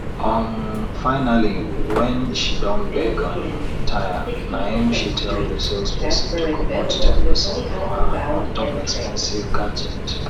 um finally wen she don beg um tire naim she tell di salesperson to comot ten percent for her on top expensive gadget